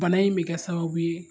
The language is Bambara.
Bana in bɛ kɛ sababu ye